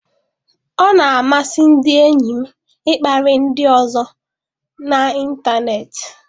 Ọ na-amasị ndị enyi m ịkparị ndị ọzọ n'ịntanetị.